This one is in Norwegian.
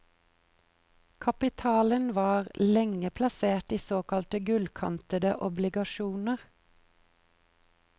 Kapitalen var lenge plassert i såkalte gullkantede obligasjoner.